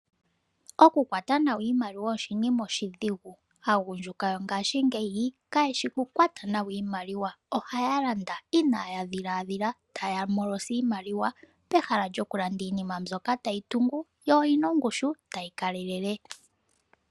Okukwata nawa iimaliwa oshinima oshidhigu. Aagundjuka yongashingeyi kayeshi kukwata nawa iimaliwa. Ohaya landa inaaya dhiladhila taya hepeke iimaliwa pehala lyokulanda iinima mbyoka tayi tungu yo oyina ongushu tayi kalele.